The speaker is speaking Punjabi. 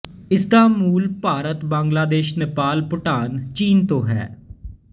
ਇਸਦਾ ਮੂਲ ਭਾਰਤ ਬੰਗਲਾਦੇਸ਼ ਨੇਪਾਲ ਭੂਟਾਨ ਚੀਨ ਤੋਂ ਹੈ